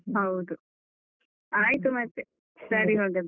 ಹೌದು ಆಯ್ತು ಮತ್ತೆ, ಸರಿ ಹಾಗಾದ್ರೆ.